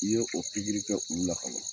N'i ye o pikiri kɛ olu la kaban